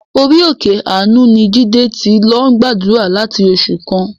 Orí òkè àánú ni Jídé ti lọ gbàdúrà láti oṣù kan.